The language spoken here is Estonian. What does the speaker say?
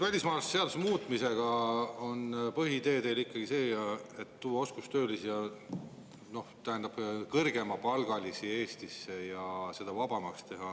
Välismaalaste seaduse muutmise puhul on ikkagi teie põhiidee tuua Eestisse oskustöölisi, noh, tähendab, kõrgemapalgalisi, ja teha see vabamaks.